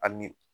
A ni